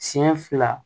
Siɲɛ fila